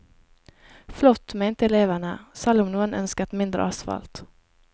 Flott, mente elevene, selv om noen ønsket mindre asfalt.